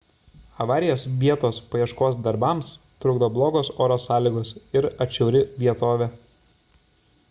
avarijos vietos paieškos darbams trukdo blogos oro sąlygos ir atšiauri vietovė